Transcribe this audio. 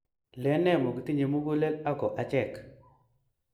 lenee mokitinye mugulel ako achek?